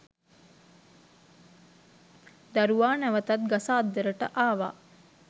දරුවා නැවතත් ගස අද්දරට ආවා